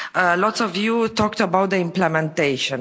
at. A lot of you talked about implementation.